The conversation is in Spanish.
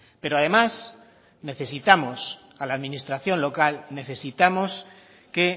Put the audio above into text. pero además necesitamos a la administración local necesitamos que